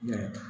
Yɛrɛ